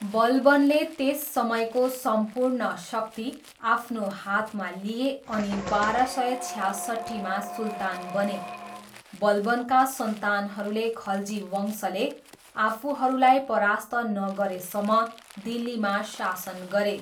बलबनले त्यस समयको सम्पूर्ण शक्ति आफ्नो हातमा लिए अनि बाह्र सय छ्यासट्ठीमा सुल्तान बने। बलबनका सन्तानहरूले खल्जी वंशले आफूहरूलाई परास्त नगरेसम्म दिल्लीमा शासन गरे।